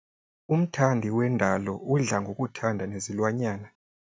Umthandi wendalo udla ngokuthanda nezilwanyana.